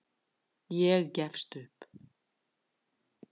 Ég gefst upp.